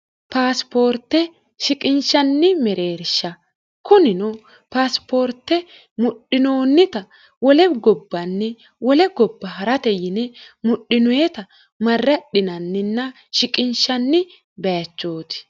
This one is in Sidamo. paasipoorte shiqinshanni mereersha kunino paasipoorte mudhinoonnita wolebi gobbanni wolei gobba ha'rate yine mudhinoeta marradhinanninna shiqinshanni bayachooti